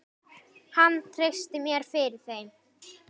Hann treysti mér fyrir þeim.